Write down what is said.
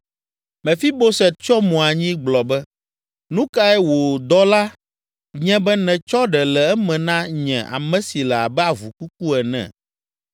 Mefiboset tsyɔ mo anyi gblɔ be, “Nu kae wò dɔla nye be nètsɔ ɖe le eme na nye, ame si le abe avu kuku ene?”